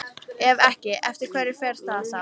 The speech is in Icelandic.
Ef ekki, eftir hverju fer það þá?